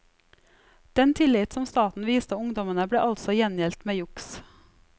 Den tillit som staten viste ungdommene ble altså gjengjeldt med juks.